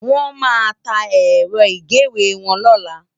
Wòn má tá èrò igéwé wòn lòlá